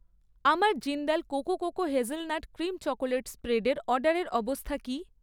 আমার Jindal cocoa cocoa hazelnut cream chocolate spread এর অর্ডারের অবস্থা কী?